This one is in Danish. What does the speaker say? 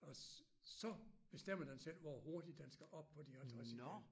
Og så bestemmer den selv hvor hurtigt den skal op på de 50 igen